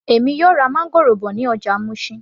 Èmi yóò ra máńgòrò bọ̀ ní ọjà Mushin